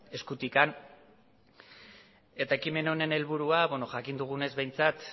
eskutik ekimen honen helburua jakin dugunez behintzat